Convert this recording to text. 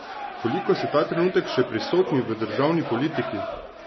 Koliko ste ta trenutek še prisotni v državni politiki?